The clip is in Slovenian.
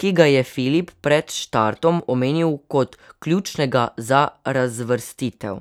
ki ga je Filip pred štartom omenil kot ključnega za razvrstitev.